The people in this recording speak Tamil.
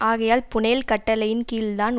ஆகையால் பூனெல் கட்டளையின் கீழ் தான்